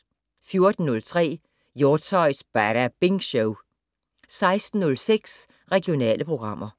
14:03: Hjortshøjs Badabing Show 16:06: Regionale programmer